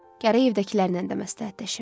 Gərək evdəkilərnən də məsləhətləşim.